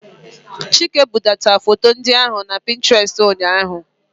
Chike budata foto ndị ahụ na Pinterest ụnyahụ.